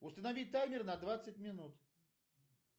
установить таймер на двадцать минут